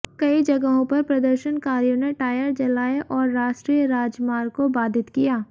कई जगहों पर प्रदर्शनकारियों ने टायर जलाए और राष्ट्रीय राजमार्ग को बाधित किया